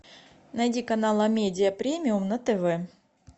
найди канал амедиа премиум на тв